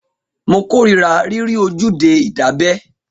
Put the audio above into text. Mo kórira rírí ojúde ìdábẹ́